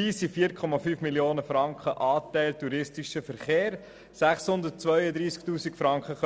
Dabei kommen 4,5 Mio. Franken als Anteil touristischer Verkehr, 632 000 Franken als